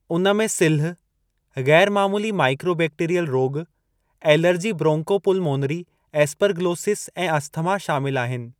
उन में सिल्ह, ग़ैरु मामूली माइकोबैक्टीरियल रोॻु, एलर्जी ब्रोंकोपुलमोनरी एस्परगिलोसिस ऐं अस्थमा शामिल आहिनि।